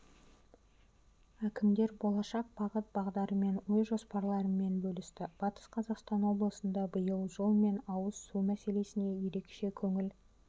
әкімдер болашақ бағыт-бағдарымен ой-жоспарларымен бөлісті батыс қазақстан облысында биыл жол мен ауыз су мәселесіне ерекше көңіл